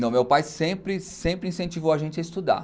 Não, meu pai sempre, sempre incentivou a gente a estudar.